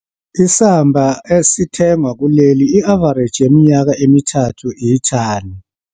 Isamba esithengwa kuleli, i-avareji yeminyaka emithathu, ithani.